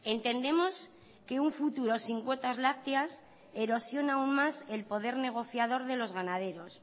entendemos que un futuro sin cuotas lácteas erosiona aún más el poder negociador de los ganaderos